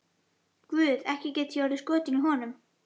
Guð, ekki gæti ég orðið skotin í honum.